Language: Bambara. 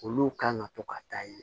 Olu kan ka to ka taa ye